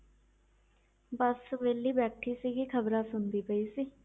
ਬਸ ਵਿਹਲੀ ਬੈਠੀ ਸੀਗੀ ਖ਼ਬਰਾਂ ਸੁਣਦੀ ਪਈ ਸੀ।